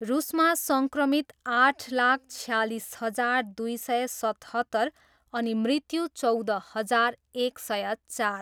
रुसमा सङ्क्रमित आठ लाख छयालिस हजार दुई सय सतहत्तर अनि मृत्यु चौध हजार एक सय चार।